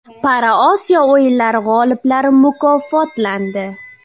ParaOsiyo o‘yinlari g‘oliblari mukofotlandi.